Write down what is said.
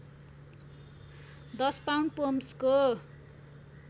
१० pound पोम्सको